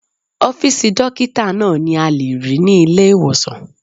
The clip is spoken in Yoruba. Ọ́fìsì dókítà náà ni a lè rí ní ilé-ìwòsàn